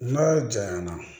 N'a janyana